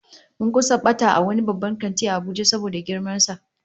Mun kusa bata a wani babban kanti a Abuja saboda girman sa